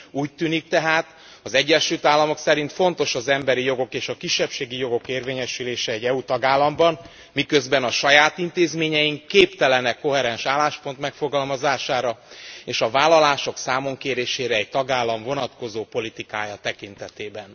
Úgy tűnik tehát, az Egyesült Államok szerint fontos az emberi jogok és a kisebbségi jogok érvényesülése egy EU tagállamban, miközben a saját intézményeink képtelenek koherens álláspont megfogalmazására, és a vállalások számonkérésére egy tagállam vonatkozó politikája tekintetében.